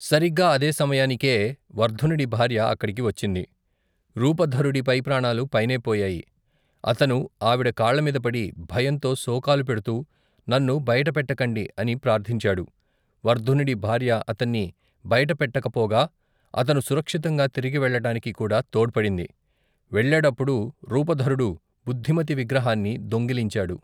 సరిగ్గా అదే సమయానికే వర్ధనుడి భార్య అక్కడికి వచ్చింది. రూపధరుడి పై ప్రాణాలు పైనే పోయాయి. అతను ఆవిడ కాళ్లమీద పడి, భయంతో శోకాలు పెడుతూ, నన్ను బయటపెట్టకండి! అని ప్రార్థించాడు, వర్ధనుడి భార్య అతన్ని బయట పెట్టకపోగా అతను సురక్షితంగా తిరిగి వెళ్ళటానికి కూడా తోడ్పడింది.వెళ్ళేటప్పుడు రూపధరుడు బుద్ధిమతి విగ్రహాన్ని దొంగిలించాడు.